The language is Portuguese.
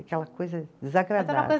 Aquela coisa